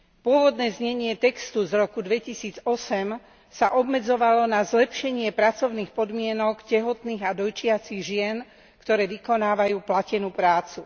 Pôvodné znenie textu z roku 2008 sa obmedzovalo na zlepšenie pracovných podmienok tehotných a dojčiacich žien, ktoré vykonávajú platenú prácu.